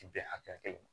Bɛn hakɛya kelen ma